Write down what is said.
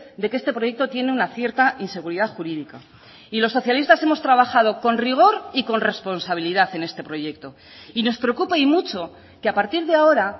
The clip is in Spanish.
de que este proyecto tiene una cierta inseguridad jurídica y los socialistas hemos trabajado con rigor y con responsabilidad en este proyecto y nos preocupa y mucho que a partir de ahora